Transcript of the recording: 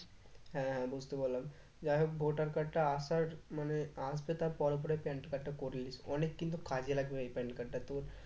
হ্যাঁ হ্যাঁ বুঝতে পারলাম যাই হোক voter card টা আসার মানে আসবে তার পরেই পরেই PAN card টা করিয়ে নিস অনেক কিন্তু ও কাজে লাগবে এই PAN card টা তোর